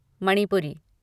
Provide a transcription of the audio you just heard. Manipuri